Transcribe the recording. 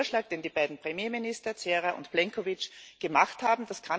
Das ist der Vorschlag, den die beiden Premierminister Cerar und Plenković gemacht haben.